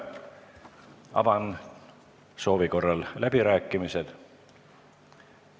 Avan soovi korral läbirääkimised.